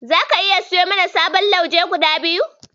Zaka iya siyo mana sababbin lauje guda biyu.